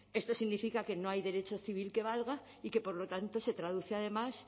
esto significa que no hay derecho civil que valga y que por lo tanto se traduce además